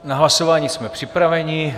Na hlasování jsme připraveni.